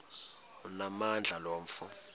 onamandla lo mfo